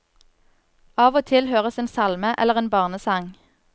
Av og til høres en salme, eller en barnesang.